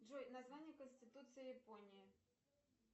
джой название конституции японии